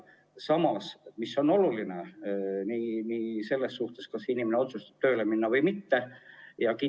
Samas, mis on oluline selles suhtes, kas inimene otsustab tööle minna või mitte?